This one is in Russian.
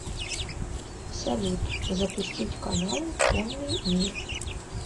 салют запустить каналы конный мир